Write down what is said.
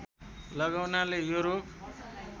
लगाउनाले यो रोग